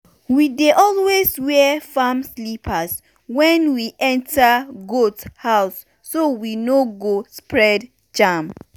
we dey always wear farm slippers when we enter goat house so we no go spread germ.